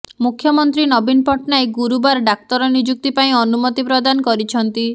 ମୁଖ୍ୟମନ୍ତ୍ରୀ ନବୀନ ପଟ୍ଟନାୟକ ଗୁରୁବାର ଡାକ୍ତର ନିଯୁକ୍ତି ପାଇଁ ଅନୁମତି ପ୍ରଦାନ କରିଛନ୍ତି